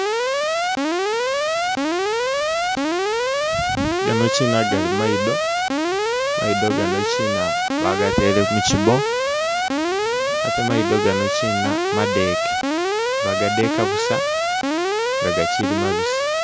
Ganokina gali mayido, mayido ganokina bagatele mu kibo ate mayido ganokina made ke bagadeka busa.